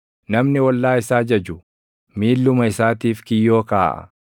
Namni ollaa isaa jaju, miilluma isaatiif kiyyoo kaaʼa.